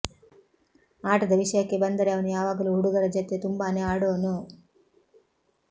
ಆಟದ ವಿಷಯಕ್ಕೆ ಬಂದರೆ ಅವನು ಯಾವಾಗಲೂ ಹುಡುಗರ ಜತೆಗೆ ತುಂಬಾನೇ ಆಡೋನು